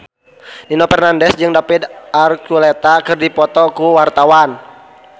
Nino Fernandez jeung David Archuletta keur dipoto ku wartawan